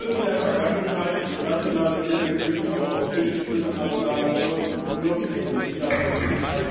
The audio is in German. Die Sünden der Vergangenheit, wo nationale Fehlentwicklungen auf europäischen Schultern abgeladen wurde, dürfen nicht wieder passieren.